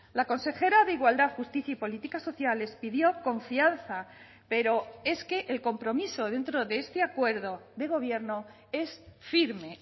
la consejera de igualdad justicia y políticas sociales pidió confianza pero es que el compromiso dentro de este acuerdo de gobierno es firme